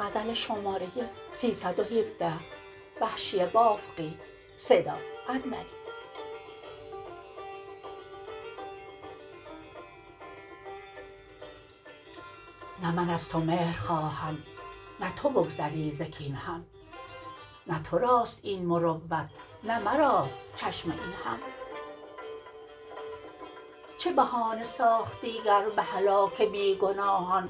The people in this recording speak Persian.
نه من از تو مهر خواهم نه تو بگذری ز کین هم نه تر است این مروت نه مراست چشم این هم چه بهانه ساخت دیگر به هلاک بیگناهان